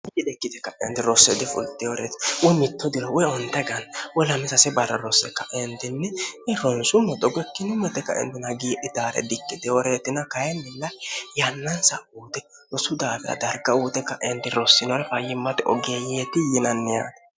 ite ikkite ka'enti rosse difulteworeeti uy mitto dilo uye onta ganni woy lamisase barra rosse kaentinni ronsu moxogo ikkinni mote kaentina giihi taare dikkiteworeetina kayinnilla yannansa uute rosu daafira darga uute ka'endi rossinore fayyimmade ogeeyyeeti yinanni aati